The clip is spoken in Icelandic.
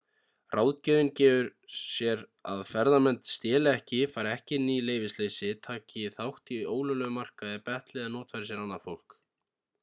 ráðgjöfin gefur sér að ferðamenn steli ekki fari ekki inn í leyfisleysi taki þátt í ólöglegum markaði betli eða notfæri sér annað fólk